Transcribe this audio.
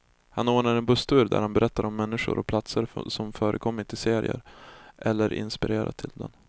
Han ordnar en busstur där han berättar om människor och platser som förekommit i serien, eller inspirerat till den.